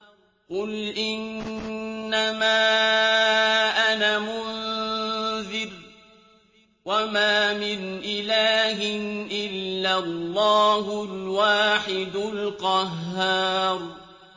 قُلْ إِنَّمَا أَنَا مُنذِرٌ ۖ وَمَا مِنْ إِلَٰهٍ إِلَّا اللَّهُ الْوَاحِدُ الْقَهَّارُ